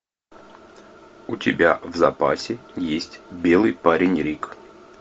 у тебя в запасе есть белый парень рик